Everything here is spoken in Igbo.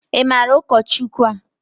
I maara ụkọchukwu a?